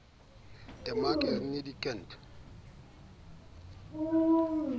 te maak is nie kinder